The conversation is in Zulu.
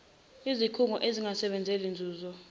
izikhungo ezingasebenzeli nzuzo